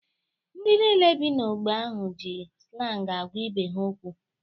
Ndị niile bi n'ógbè ahụ ji slangi agwa ibe ha okwu